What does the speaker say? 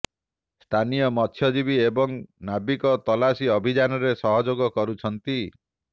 ସ୍ଥାନୀୟ ମତ୍ସ୍ୟଜୀବୀ ଏବଂ ନାବିକ ତଲାସୀ ଅଭିଯାନରେ ସହଯୋଗ କରୁଛନ୍ତି